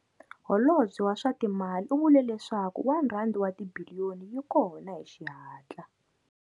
Holobye wa swa Timali u vule leswaku R1 wa tibiliyoni yi kona hi xihatla.